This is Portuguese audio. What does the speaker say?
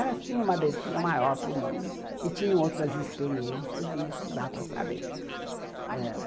Elas tinham uma abertura maior para o mundo e tinham outras experiências, e isso dá para saber ãh